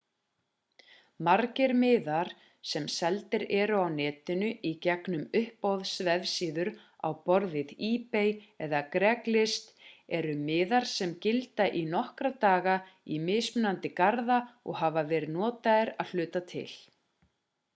margir miðar sem seldir eru á netinu í gegnum uppboðsvefsíður á borð við ebay eða craigslist eru miðar sem gilda í nokkra daga í mismunandi garða og hafa verið notaðir að hluta til